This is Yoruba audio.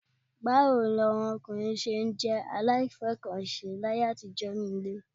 Báwo ni àwọn ọkùnrin ṣé jẹ́ aláìfẹ́-nǹkan-ṣe láyé àtijọ́ nínú ilé?